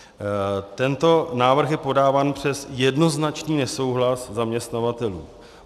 Tento návrh je podáván přes jednoznačný nesouhlas zaměstnavatelů.